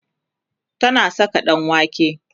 tana Saka ɗanwake